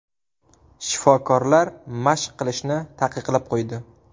Shifokorlar mashq qilishni taqiqlab qo‘ydi.